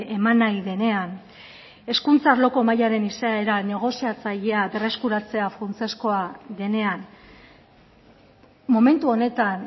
eman nahi denean hezkuntza arloko mahaiaren izaera negoziatzailea berreskuratzea funtsezkoa denean momentu honetan